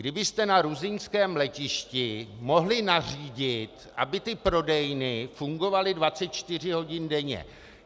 Kdybyste na ruzyňském letišti mohli nařídit, aby ty prodejny fungovaly 24 hodin denně.